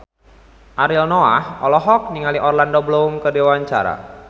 Ariel Noah olohok ningali Orlando Bloom keur diwawancara